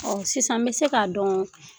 Ɔɔ sisan n bi se k ka dɔn